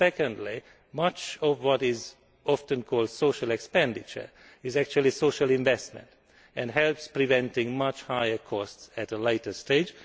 Secondly, much of what is often called social expenditure is actually social investment and helps prevent much higher costs at a later stage.